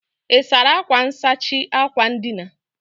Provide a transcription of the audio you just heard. Ị́ sara akwa nsachi akwa ndina?